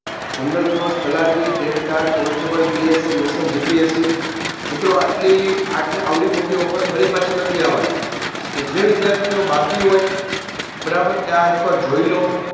general course તલાટી TET TAT constablePSImission GPSC મિત્રો આટલી આવડી મોટી offer ફરી પાછી નથી આવાની એટલે જે વિધાર્થીઓ બાકી હોય બારાબર એ એક વાર આ જોઇલો